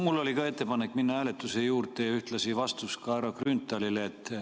Mul oli ka ettepanek minna hääletuse juurde ja ühtlasi on mul ka vastus härra Grünthalile.